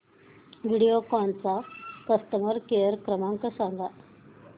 व्हिडिओकॉन चा customer care क्रमांक सांगा